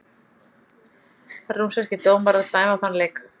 Rússneskir dómarar dæma þann leik